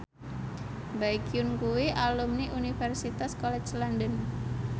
Baekhyun kuwi alumni Universitas College London